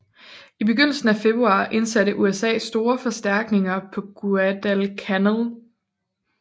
I begyndelsen af februar indsatte USA store forstærkninger på Guadalcanal